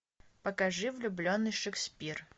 покажи влюбленный шекспир